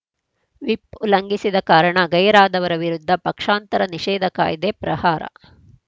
whip ಉಲ್ಲಂಘಿಸಿದ ಕಾರಣ ಗೈರಾದವರ ವಿರುದ್ಧ ಪಕ್ಷಾಂತರ ನಿಷೇಧ ಕಾಯ್ದೆ ಪ್ರಹಾರ